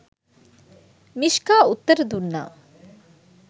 " Mishka උත්තර දුන්නා.